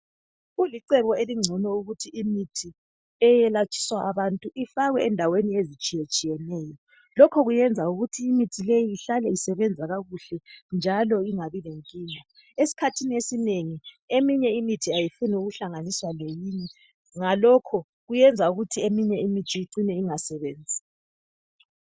Kulicebo elingcono ukuthi imithi eyelatshiswa abantu ifakwe endaweni ezitshiyetshiyeneyo. Lokho kuyenza ukuthi imithi leyi ihlale isebenza kakuhle njalo ingabi lenkinga. Esikhathini esinengi eminye imithi ayifuni ukuhlanganiswa leminye Ngalokho kuyenza ukuthi eminye imithi icine ingasebenzi.